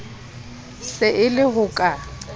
se e le ho ka